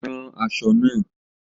Ran aṣọ náà!